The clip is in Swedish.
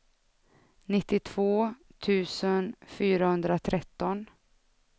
nittiotvå tusen fyrahundratretton